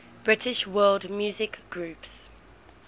british world music groups